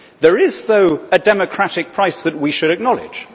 There is, though, a democratic price that we should acknowledge.